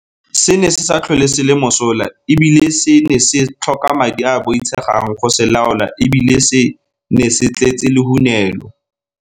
Se ne se sa tlhole se le mosola e bile se ne se tlhoka madi a a boitshegang go se laola e bile se ne se tletse lehunelo.